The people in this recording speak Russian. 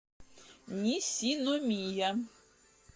нисиномия